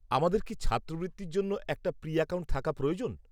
আমাদের কি ছাত্রবৃত্তির জন্য একটা প্রী অ্যাকাউন্ট থাকা প্রয়োজন?